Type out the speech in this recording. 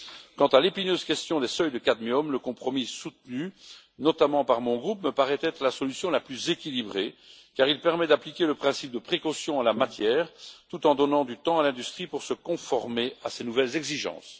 Quant à l'épineuse question des seuils de cadmium, le compromis soutenu notamment par mon groupe me paraît être la solution la plus équilibrée, car il permet d'appliquer le principe de précaution en la matière, tout en donnant du temps à l'industrie pour se conformer à ces nouvelles exigences.